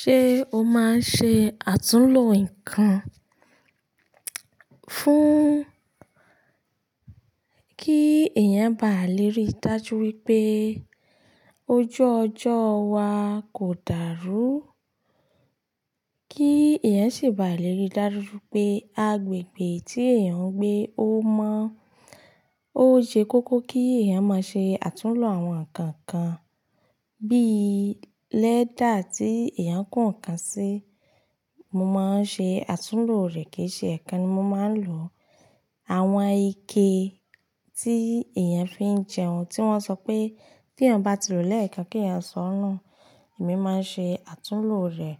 Ṣé o máa ń ṣe àtúnlo nǹkan fún kí èèyàn ba lè rí dájú wípé ojú ọjọ́ wa kò dàrú, kí èèyàn sì ba lè rí dájú pé agbègbè tí èèyàn ń gbé ó mọ́. Ó ṣe kókó kí èèyàn máa ṣe àtúnlo àwọn nǹkan kan bíi lẹ́dà tí èèyàn nkò kàn sí. Mo máa ń ṣe àtúnlo rẹ̀ kíì ṣe ẹ̀kan ni mo máa ń lò. Àwọn ike tí èèyàn fi ń jẹun, tí wọ́n sọ pé tí èèyàn bá ti lòó lẹ́ẹ̀kan kí èèyàn sọ ọ́n nù, èmi máa ń ṣe àtúnlo rẹ̀.